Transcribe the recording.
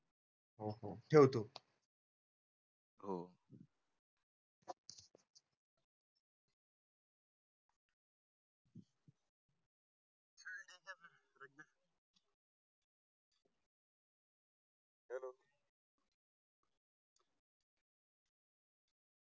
हो हो ठेवतो हो